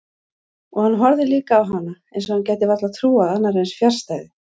Og hann horfði líka á hana eins og hann gæti varla trúað annarri eins fjarstæðu.